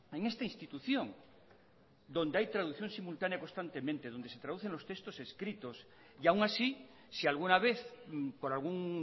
en esta institución donde hay traducción simultánea constantemente donde se traducen los textos escritos y aún así si alguna vez por algún